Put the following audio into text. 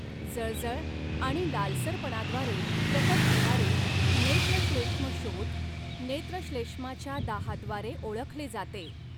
जळजळ आणि लालसरपणाद्वारे प्रकट होणारे नेत्रश्लेष्मशोथ नेत्रश्लेष्माच्या दाहाद्वारे ओळखले जाते.